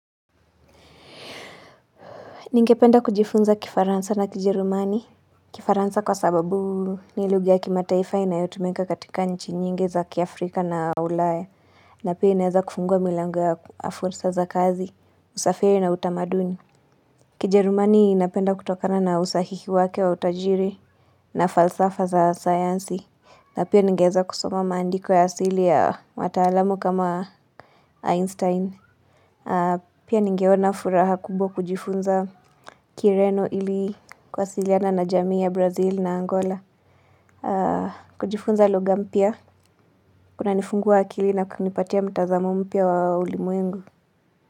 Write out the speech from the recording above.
Ningependa kujifunza kifaransa na kijerumani kifaransa kwa sababu ni lugha ya kimataifa inayotumika katika nchi nyingi za kia Afrika na ulaya na pia inaweza kufungua milango ya fursa za kazi, usafiri na utamaduni Kijerumani inapenda kutokana na usahihi wake wa utajiri na falsafa za sayansi na pia ningeweza kusoma maandiko ya asili ya wataalamu kama Einstein Pia ningeona furaha kubwa kujifunza kireno ili kuwasiliana na jamii ya Brazil na Angola kujifunza lugha mpya kunanifungua akili na kunipatia mtazamo mpya wa ulimwengu.